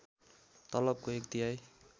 तलबको एक तिहाई